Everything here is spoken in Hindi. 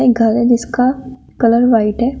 एक घर है जिसका कलर व्हाइट है।